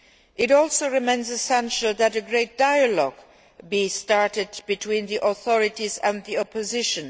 It also remains essential that a serious dialogue be opened between the authorities and the opposition.